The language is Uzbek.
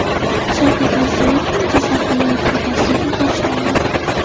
Shavkat Mirziyoyevning Jizzax viloyatiga tashrifi boshlandi.